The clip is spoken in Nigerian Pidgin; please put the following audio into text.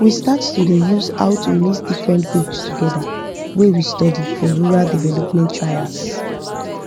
we start to dey use how to mix different goat togeda wey we study for rural development trials